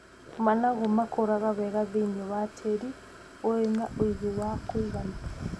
Managu makũraga wega thĩiniĩ wa tĩĩri ũrĩ na ũigũ wa kũigana.